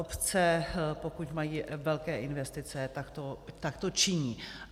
Obce, pokud mají velké investice, tak to činí.